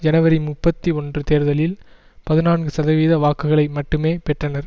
ஜனவரி முப்பத்தி ஒன்று தேர்தலில் பதினான்கு சதவீத வாக்குகளை மட்டுமே பெற்றனர்